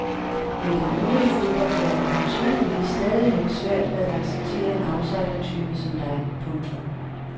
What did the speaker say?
Men den øvrige fodboldverden har tydeligvis stadigvæk svært ved at acceptere en outsidertype som dig. punktum